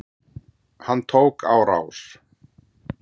Hann tók á rás.